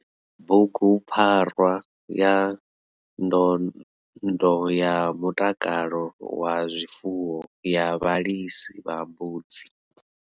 Bugupfarwa ya ndondo ya mutakalo wa zwifuwo ya vhalisi vha mbudzi.